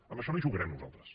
amb això no hi jugarem nosaltres